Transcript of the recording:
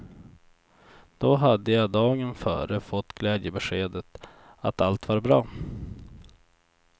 Då hade jag dagen före fått glädjebeskedet att allt var bra.